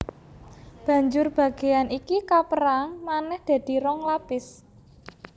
Banjur bagéan iki kapérang manèh dadi rong lapis